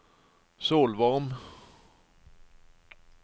Solvorn